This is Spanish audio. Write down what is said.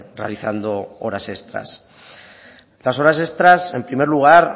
realizando horas extras las horas extras en primer lugar